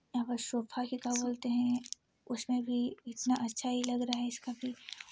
उसमे भी इतना अच्छा ही लग रहा है।